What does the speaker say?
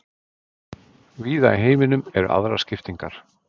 Víða í heiminum eru aðrar skiptingar.